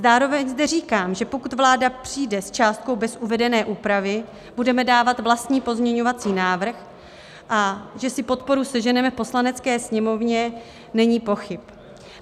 Zároveň zde říkám, že pokud vláda přijde s částkou bez uvedené úpravy, budeme dávat vlastní pozměňovací návrh a že si podporu sežene v Poslanecké sněmovně, není pochyb.